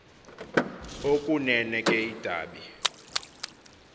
okunene ke idabi